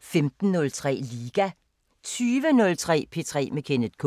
15:03: Liga 20:03: P3 med Kenneth K